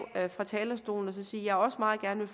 fra talerstolen og sige at jeg også meget gerne